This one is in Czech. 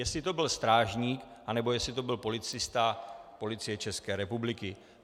Jestli to byl strážník, anebo jestli to byl policista Policie České republiky.